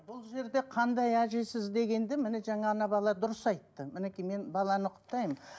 бұл жерде қандай әжесіз дегенді міне жаңа балалар дұрыс айтты мінекей мен баланы құптаймын